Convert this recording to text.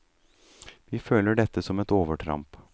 Vi føler dette som et overtramp.